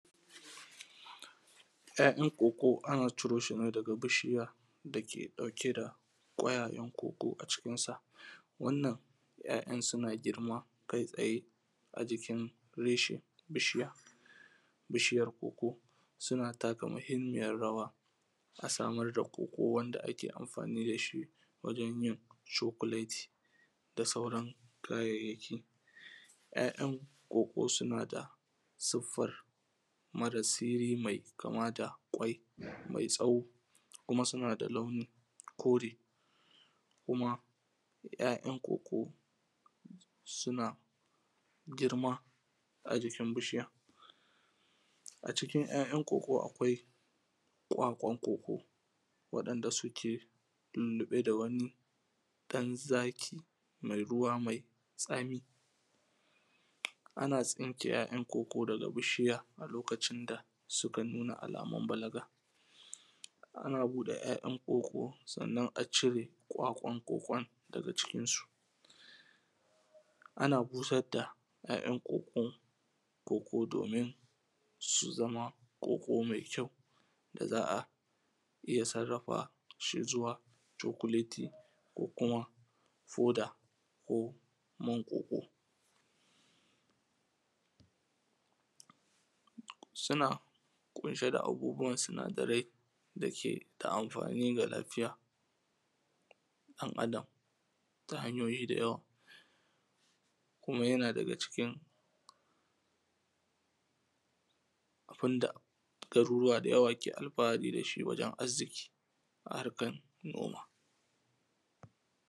‘Ya'yan koko ana ciro shi ne daga bishiya da ke ɗauke da ƙwayayen koko a cikin sa. Wannan ‘ya'yan suna girma kai tsaye a jikin reshen bishiya. Bishiyar koko suna taka muhimiyyar rawa a samar da koko wanda ake amfani da shi wajen yin chocolate, da sauran kayayyaki. ‘Ya'yan koko suna da siffar mara siri mai kama da kwai mai tsawo, kuma suna kama da launin kore, kuma ‘ya'yan koko suna girma a jikin bishiya. A cikin ‘ya'yan koko akwai kwakwan koko wa'inda suke lulluɓe da wani kan zaki mai ruwa mai tsami. Ana tsinke ‘ya'yan koko daga bishiya a lokacin da suka nuna amamar balaga ana buɗe ‘ya'yan koko sannan a cire kwakwan kokon daga cikin su ana busar da ya'yan kokon domin su zama koko mai kyau da za a iya sarrafa shi domin su zama chocolati ko kuma powder ko kuma man koko. Suna ƙunshe da abubuwan sinadarai da ke da amfani ga lafiyan ɗan Adam ta hanyoyi da yawa. Kuma yana daga cikin abun da garurruwa da yawa ke alfahari da shi wajen arziki a harkar noma.